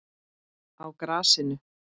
Á grasinu?